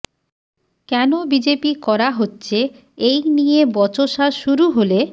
কেন বিজেপি করা হচ্ছে এই নিয়ে বচসা শুরু হলে